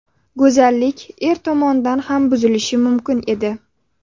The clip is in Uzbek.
Go‘zallik er tomonidan ham buzilishi mumkin edi.